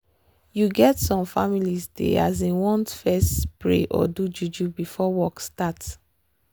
you get some families dey asin want fess pray or do juju before work start